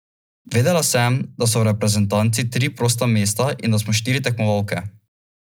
Vedela sem, da so v reprezentanci tri prosta mesta in da smo štiri tekmovalke.